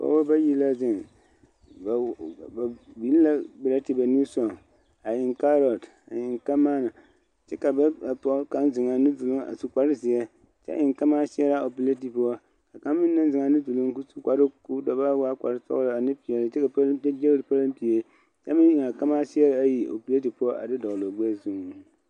Pɔgebɔ bayi la zeŋ ba biŋ la pɛrɛte ba nimisɔgɔŋ a eŋ kaarote a eŋ kamaana kyɛ ka ba kapɔge kaŋ seŋ a nu duluŋ a su kpare zeɛ kyɛ eŋ kamaaseɛre ppɛlɛte poɔ kaŋa meŋ naŋ seŋ a nu duluŋ ka o su kparoo sɔglaa ane peɛle kyɛ meŋ eŋ a kamaaseɛre ayi a pɛrɛte poɔ a de dɔgle o gbɛɛ zuŋ.